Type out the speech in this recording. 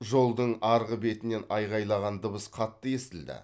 жолдың арғы бетінен айқайлаған дыбыс қатты естілді